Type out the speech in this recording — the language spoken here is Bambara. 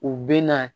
U bɛ na